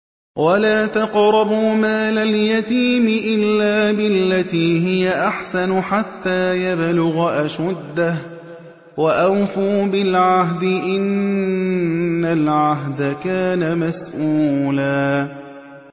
وَلَا تَقْرَبُوا مَالَ الْيَتِيمِ إِلَّا بِالَّتِي هِيَ أَحْسَنُ حَتَّىٰ يَبْلُغَ أَشُدَّهُ ۚ وَأَوْفُوا بِالْعَهْدِ ۖ إِنَّ الْعَهْدَ كَانَ مَسْئُولًا